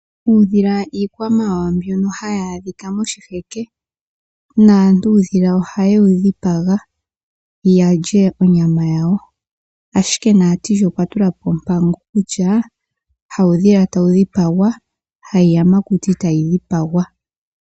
Uudhila iikwamawawa mbyoka hayi adhika moshiheke, naantu ohaya dhipaga uudhila yalye onyama yawo ashike Natiili okwa tula po ompango kutya hawu dhila tawu dhipagwa, hayi yamakuti tayi dhipagwa.